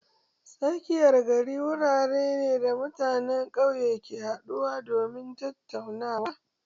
Tsakiyar gari wuri ne da mutanen ƙauye ke haɗuwa domin tattaunawa.